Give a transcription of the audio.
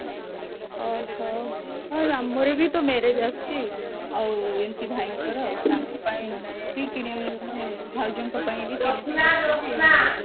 ଓଃ ହୋ ଆଉ ଆମର ବି ତ marriage ଆସୁଛି ଆଉ ଏମତି ଭାଇଙ୍କର ତାଙ୍କ ପାଇଁ ବି କିଣି ମାନେ ଭାଉଜଙ୍କ ପାଇଁ ବି